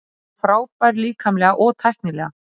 Hann er frábær líkamlega og tæknilega.